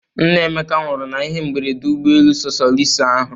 Nna Emeka nwụrụ na ihe mberede ụgbọ elu sosoliso ahụ.